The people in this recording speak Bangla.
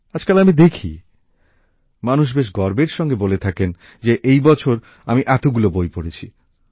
আজকাল আমি দেখি মানুষ বেশ গর্বের সঙ্গে বলে থাকেন যে এই বছর আমি এতগুলি বই পড়েছি